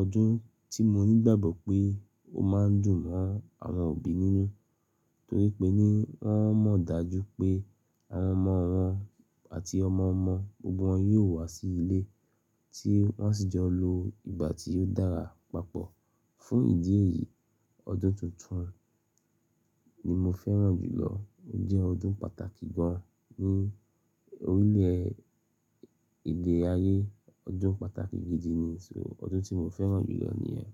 ọdún tí mo nígbàgbọ́ pé ó máa ń dùn mọ́ àwọn òbí nínú, torí pé ní wọ́n mọ̀ dájú pé àwọn ọmọ wọn àti ọmọ ọmọ gbogbo wọn yóò wá sí ilé tí wọ́n sì jọ lo ìgbà tí ó dára papọ̀. Fún ìdí èyí, ọdún tuntun ni mo fẹ́ràn jù lọ. Ó jẹ́ ọdún pàtàkì gan ní orílẹ̀ e èdè ayé, ọdún pàtàkì gidi nì, ọdún tí mo fẹ́ràn jù lọ nìyẹn.